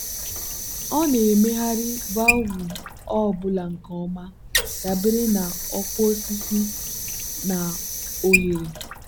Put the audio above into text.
ọ na-emegharị valvụ ọ bụla nke ọma dabere na ọkwa osisi na oghere.